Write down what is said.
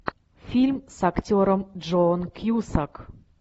фильм с актером джоном кьюсак